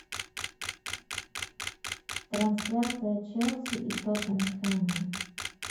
трансляция челси и тоттенхэма